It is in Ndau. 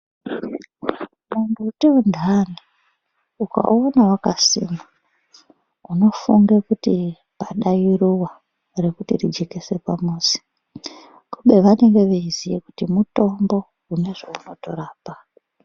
Mumbuti untani ukaona wakasimwa unofunge kuti pada iruwa rekuti rijekese pamuzi kube vanenge veiziye kuti mutombo une zvaunotorapa.